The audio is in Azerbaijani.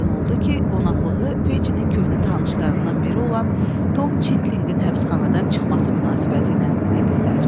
Aydın oldu ki, qonaqlığı Fecinin köhnə tanışlarından biri olan Tom Çitlinqin həbsxanadan çıxması münasibətilə edirlər.